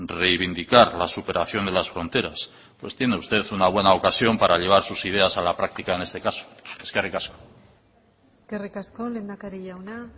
reivindicar la superación de las fronteras pues tiene usted una buena ocasión para llevar sus ideas a la práctica en este caso eskerrik asko eskerrik asko lehendakari jauna